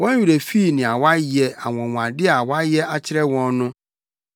Wɔn werɛ fii nea wayɛ, anwonwade a wayɛ akyerɛ wɔn no.